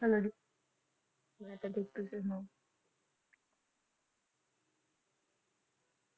hello ਜੀ ਮੈਂ ਤਾ ਠੀਕ ਤੁਸੀ ਸੁਣਾਓ